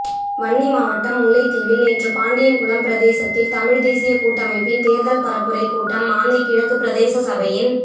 வன்னிமாவட்டம் முல்லைத்தீவில் நேற்று பாண்டியன்குளம் பிரதேசத்தில் தமிழ் தேசிய கூட்டமைப்பின் தேர்தல் பரப்புரை கூட்டம் மாந்தை கிழக்கு பிரதேசசபையின்